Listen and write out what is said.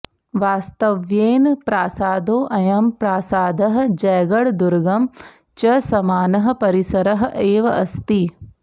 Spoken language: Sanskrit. वास्तव्येन प्रासादोऽयं प्रासादः जयगढदुर्गं च समानः परिसरः एव अस्ति